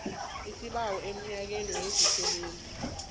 isibawo emnyangweni wezabasebenzi